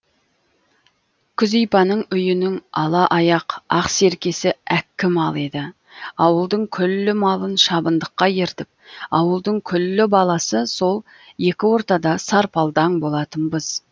күзипаның үйінің ала аяқ ақ серкесі әккі мал еді ауылдың күллі малын шабындыққа ертіп ауылдың күллі баласы сол екі ортада сарпалдаң болатынбыз